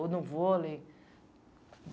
Ou no vôlei.